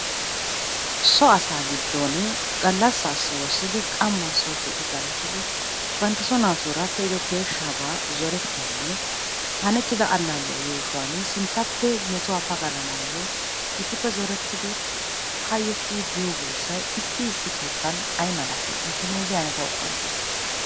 So asaa goddooni gallassaassi woossidi qammaassi galatidi banttaso naatuura pe'ido peeshshaabaa zorettiyanne hanettida allaalliya yuushuwani sinttappe metuwa pagalanaayyo issippe zorettidi hayyottidi biyo hanotay issi issi keettan ay malatii? Intte meeziya ane tawu qonccissite.